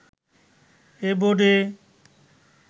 এ বোর্ডে